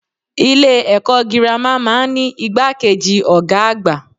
Ilé èkó girama máa n ní igbákejì Ògá àgbà